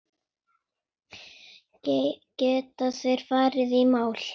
Geta þeir farið í mál?